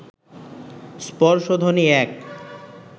স্পর্শধ্বনি এক